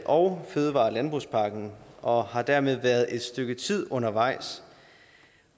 og fødevare og landbrugspakken og har dermed været et stykke tid undervejs